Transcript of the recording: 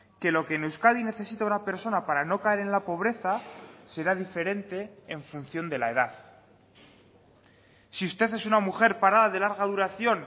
que lo que en euskadi necesita una persona para no caer en la pobreza será diferente en función de la edad si usted es una mujer parada de larga duración